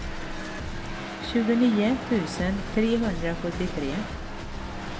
tjugonio tusen trehundrasjuttiotre